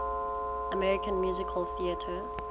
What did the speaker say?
american musical theatre